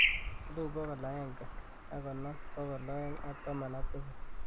elipu bogol agenge ak konom bogol oeng ak taman ak tisab